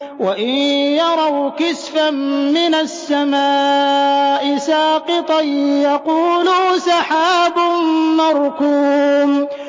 وَإِن يَرَوْا كِسْفًا مِّنَ السَّمَاءِ سَاقِطًا يَقُولُوا سَحَابٌ مَّرْكُومٌ